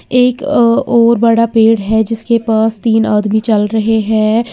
एक अ और बड़ा पेड़ है जिसके पास तीन आदमी चल रहे हैं।